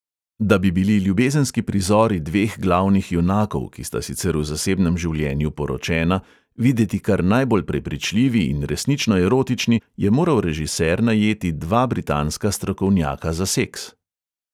Da bi bili ljubezenski prizori dveh glavnih junakov, ki sta sicer v zasebnem življenju poročena, videti kar najbolj prepričljivi in resnično erotični, je moral režiser najeti dva britanska strokovnjaka za seks.